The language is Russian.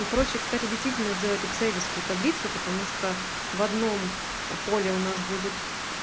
и проще кстати действительно сделать экселевскую таблицу потому что в одном поле у нас будет